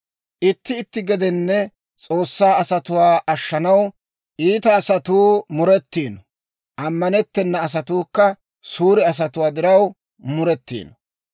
Itti itti gedenne S'oossaa asatuwaa ashshanaw iita asatuu muretiino; ammanettena asatuukka suure asatuwaa diraw muretiino.